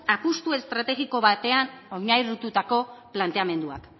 apustu estrategiko batean oinarritutako planteamenduak